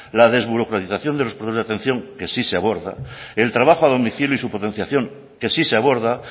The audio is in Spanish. la desburocratización de los de atención que sí se aborda el trabajo a domicilio y su potenciación que sí se aborda